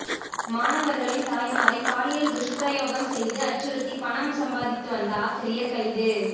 மாணவர்களின் தாய்மாரை பாலியல் துஷ்பிரயோகம் செய்து அச்சுறுத்தி பணம் சம்பாதித்து வந்த ஆசிரியர் கைது